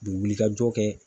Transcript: U bɛ wuli ka jɔ kɛ.